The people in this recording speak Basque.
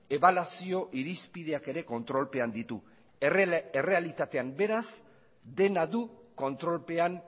ebaluazio irizpideak ere kontrolpean ditu errealitatean beraz dena du kontrolpean